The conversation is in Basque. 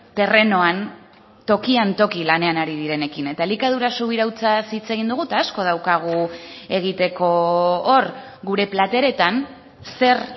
terrenoan tokian toki lanean ari direnekin eta elikadura subirautzaz hitz egin dugu eta asko daukagu egiteko hor gure plateretan zer